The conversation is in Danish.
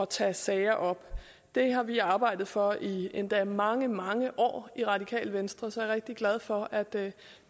tage sager op det har vi arbejdet for i endda mange mange år i radikale venstre så jeg er rigtig glad for at det